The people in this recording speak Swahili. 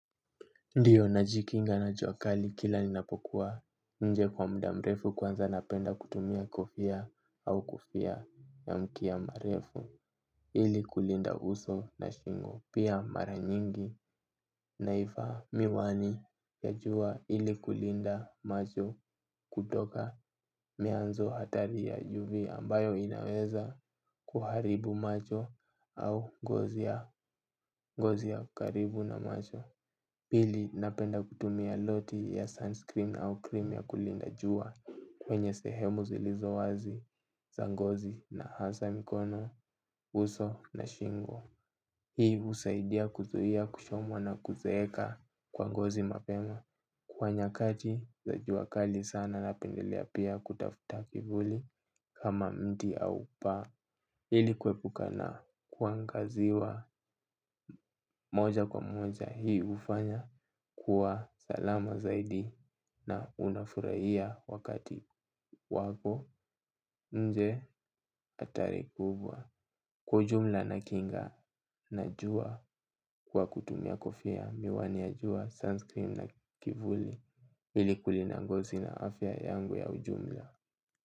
Ndio na jikinga na jua kali kila ninapokuwa nje kwa muda mrefu kwanza napenda kutumia kofia au kufia ya mkia mrefu ili kulinda uso na shingo pia mara nyingi na ivaa miwani ya juwa ili kulinda macho kutoka mionzi hatari ya UV ambayo inaweza kuharibu macho au gozi ya karibu na macho. Pili napenda kutumia loti ya sunscreen au cream ya kulinda jua kwenye sehemu zilizo wazi za ngozi na hasa mikono, uso na shingo. Hii husaidia kuzuia kuchomwa na kuzeeka kwa ngozi mapema. Kwa nyakati za jua kali sana napendelea pia kutafuta kivuli kama mti au paa. Ili kuepuka na kuangaziwa moja kwa moja hii ufanya kuwa salama zaidi na unafurahia wakati wako nje hatari kubwa kwa ujumla na kinga na jua kwa kutumia kofia. Miwani ya jua, sunscreen na kivuli ili kulinda ngozi na afya yangu ya ujumla.